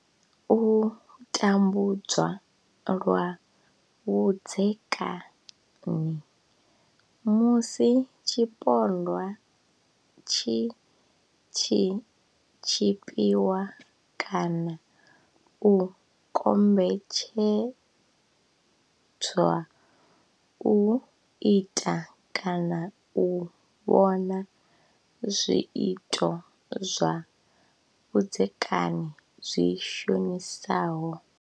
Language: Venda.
U tambudzwa lwa vhudzekani, Musi tshipondwa tshi tshi tshipiwa kana u kombetshedzwa u ita kana u vhona zwiito zwa vhudzekani zwi shonisaho.